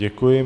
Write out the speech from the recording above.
Děkuji.